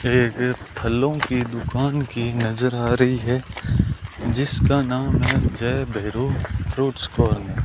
यह एक फलों की दुकान की नजर आ रही है जिसका नाम है जय भैरो फ्रूट्स कॉर्नर ।